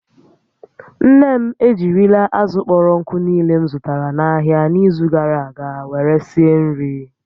Nne m ejirila azụ̀ kpọrọ nkụ niile m zụtara n'ahịa n'izu gara aga were sie nri